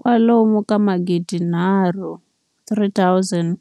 kwalomu ka magidi nharhu, 3 000